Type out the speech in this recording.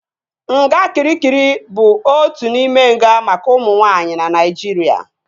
Nga Kịrikịri bụ otu n'ime nga maka ụmụ nwaanyị na Naijiria